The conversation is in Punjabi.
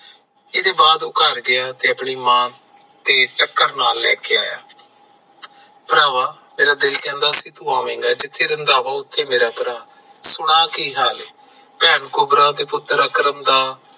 ਇਹਦੇ ਬਾਅਦ ਉਹ ਘਰ ਗਿਆ ਆਪਣੀ ਮਾਂ ਨੂੰ ਨਾਲੈ ਲੈ ਕੇ ਆਇਆ ਭਰਾਵਾ ਮੈਰਾ ਦਿਲ ਕਹਿੰਦਾ ਸੀ ਤੂੰ ਆਵੇਗਾ ਜਿੱਥੇ ਰੰਧਾਵਾ ਉਥੇ ਮੇਰਾ ਭਰਾ ਸੁਣਾ ਕੀ ਹਾਲ ਐ ਭੈਣ ਕੁਬਰਾ ਤੇ ਪੁੱਤਰ ਅਕਰਮ ਦਾ